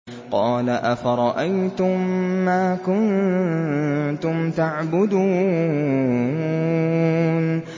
قَالَ أَفَرَأَيْتُم مَّا كُنتُمْ تَعْبُدُونَ